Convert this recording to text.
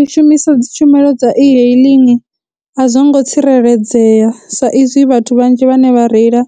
U shumisa dzi tshumelo dza e-hailing a zwo ngo tsireledzea sa izwi vhathu vhanzhi vhane vha reila